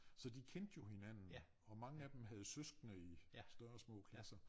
Så de kendte jo hinanden og mange af dem havde søskende i større og små klasser